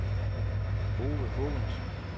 Ove Haagensen